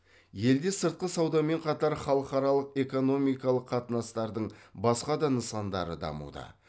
елде сыртқы саудамен қатар халықаралық экономикалық қатынастардың басқа да нысандары дамуда